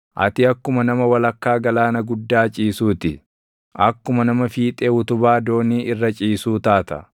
Ati akkuma nama walakkaa galaana guddaa ciisuu ti; akkuma nama fiixee utubaa doonii irra ciisuu taata.